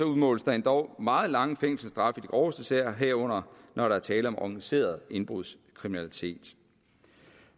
udmåles der endog meget lange fængselsstraffe groveste sager herunder når der er tale om organiseret indbrudskriminalitet